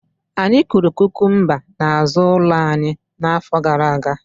Anyị kụrụ kukumba n'azụ ụlọ anyị n'afọ gara aga